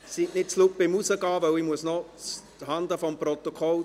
Seien Sie nicht zu laut beim Hinausgehen, weil ich noch zuhanden des Protokolls …